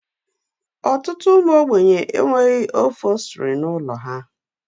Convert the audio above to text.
Ọtụtụ ụmụ ogbenye e nweghị ofostiri n'ụlọ ha.